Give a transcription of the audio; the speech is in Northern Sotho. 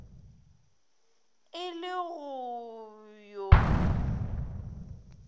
e le go b yo